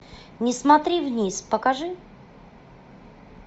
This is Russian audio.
не смотри вниз покажи